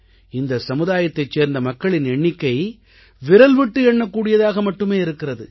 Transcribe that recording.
இந்த சமுதாயத்தைச் சேர்ந்த மக்களின் எண்ணிக்கை விரல்விட்டு எண்ணக்கூடியதாக மட்டுமே இருக்கிறது